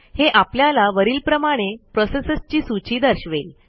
हे आपल्याला वरीलप्रमाणे प्रोसेसेसची सूची दर्शवेल